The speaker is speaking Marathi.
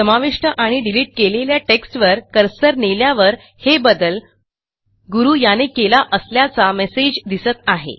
समाविष्ट आणि डिलिट केलेल्या टेक्स्टवर कर्सर नेल्यावर हे बदल गुरू याने केला असल्याचा मेसेज दिसत आहे